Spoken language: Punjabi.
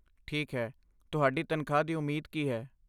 ਠੀਕ ਹੈ, ਤੁਹਾਡੀ ਤਨਖਾਹ ਦੀ ਉਮੀਦ ਕੀ ਹੈ?